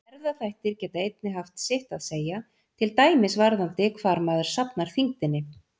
Erfðaþættir geta einnig haft sitt að segja, til dæmis varðandi hvar maður safnar þyngdinni.